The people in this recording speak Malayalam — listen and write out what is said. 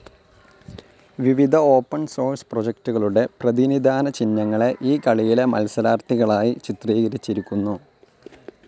വിവിധ ഓപ്പൻ സോഴ്സ് പ്രോജക്ടുകളുടെ പ്രതിനിധാന ചിഹ്നങ്ങളെ ഈ കളിയിലെ മത്സരാർത്ഥികളായി ചിത്രീകരിച്ചിരിക്കുന്നു.